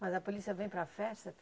Mas a polícia vem para a festa?